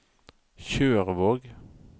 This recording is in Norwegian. Tjørvåg